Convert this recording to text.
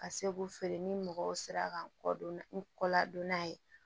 Ka se k'u feere ni mɔgɔw sera ka kɔ don n kɔ la donna ye